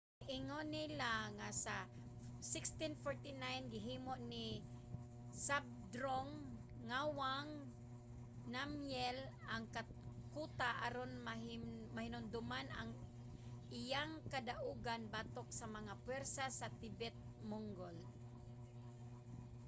giingon nila nga sa 1649 gihimo ni zhabdrung ngawang namgyel ang kuta aron mahinumduman ang iyang kadaugan batok sa mga pwersa sa tibet-mongol